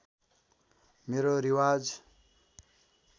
मेरो रिवाज